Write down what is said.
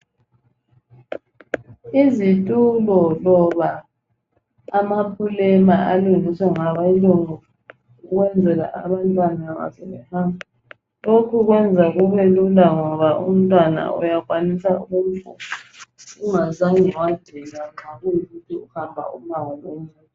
Izitulo loba amaplema alungiswa ngabelungu besenzela abantwana lokho kuyenza kubelula ukuhamba lomntwana umango omude.